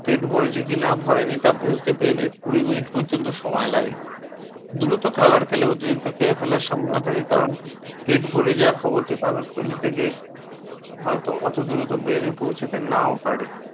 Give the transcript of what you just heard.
পেট ভরেছে কি না ভরেনি তা বুঝতে brane কুড়ি minute পর্যন্ত সময় লাগে। দ্রুত খাবার খেলে অতিরিক্ত খেয়ে ফেলার সম্ভাবনা থাকে কারণ পেট ভরে যাওয়ার খবরটি পাকস্থলি থেকে হয়তো brane পৌছাতে নাও পারে।